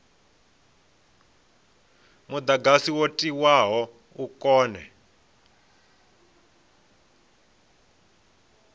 mudagasi wo tiwaho u kone